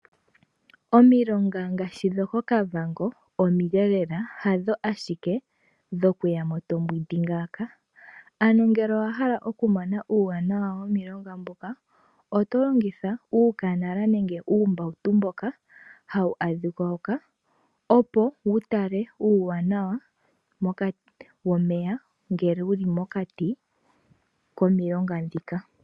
Omilonga ngaashi dhokOkavango omile lela hadho ashike dho kuyamo tombwindi ngaaka, ano ngele owa hala oku mona uuwanawa womilonga mbuka oto longitha uukanala nenge uumbawuto mboka hawu adhika hoka, opo wu tale uuwanawa womeya, ngele wuli mokati komilonga dhika.